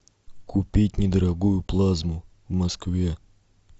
купить недорогую плазму в москве